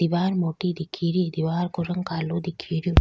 दिवार मोटी दिखे री दिवार को रंग कालो दिखे रियो।